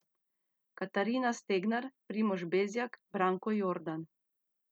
Katarina Stegnar, Primož Bezjak, Branko Jordan.